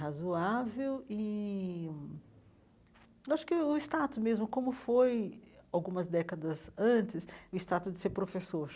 razoável, e acho que o status mesmo, como foi algumas décadas antes, o status de ser professor.